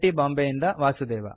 ಬಾಂಬೆಯಿಂದ ವಾಸುದೇವ